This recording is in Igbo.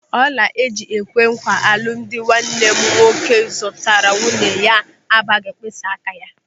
Ọla ịji kwee nkwà alụmdi nwanne m nwoke zụtara nwunye ya abaghị mkpịsị áká ya.